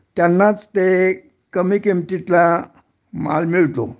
त्यांनाच ते कमी किमतीतला माल मिळतो